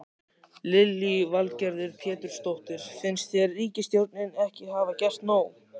Lillý Valgerður Pétursdóttir: Finnst þér ríkisstjórnin ekki hafa gert nóg?